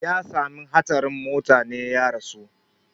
Ya sami hatsarin motane ya rasu